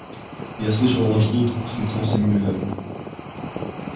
я слышал вас ждут усмехнулся мюллер